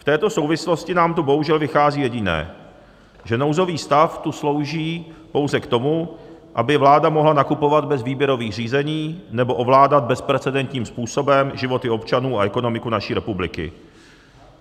V této souvislosti nám tu bohužel vychází jediné, že nouzový stav tu slouží pouze k tomu, aby vláda mohla nakupovat bez výběrových řízení nebo ovládat bezprecedentním způsobem životy občanů a ekonomiku naší republiky.